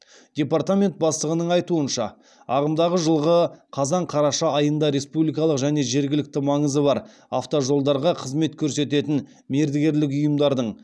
департамент бастығының айтуынша ағымдағы жылғы қазан қараша айында республикалық және жергілікті маңызы бар автожолдарға қызмет көрсететін мердігерлік ұйымдардың